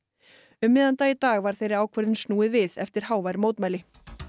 um miðjan dag í dag var þeirri ákvörðun snúið við eftir hávær mótmæli